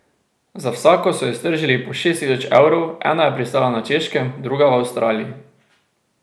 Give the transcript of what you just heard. Za vsako so iztržili po šest tisoč evrov, ena je pristala na Češkem, druga v Avstraliji.